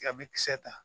Ka bɛ kisɛ ta